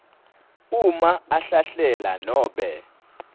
uma ahlahlela nanobe